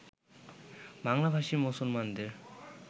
বাংলাভাষী মুসলমানদের